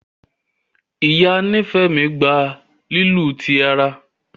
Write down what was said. Ìyá Nifemi gbà lílu tí àrà.